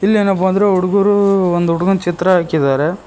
ಇಲ್ಲಿ ಏನಪ್ಪಾ ಅಂದ್ರೆ ಹುಡುಗರು ಒಂದು ಹುಡುಗನ ಚಿತ್ರ ಹಾಕಿದರೆ.